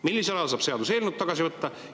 Millisel ajal saab seaduseelnõu tagasi võtta?